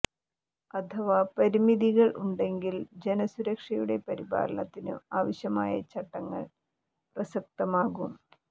അഥവാ പരിമിതികൾ ഉണ്ടെങ്കിൽ ജന സുരക്ഷയുടെ പരിപാലനത്തിനു ആവശ്യമായ ചട്ടങ്ങൾ പ്രസക്തമാകും